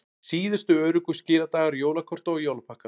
Síðustu öruggu skiladagar jólakorta og jólapakka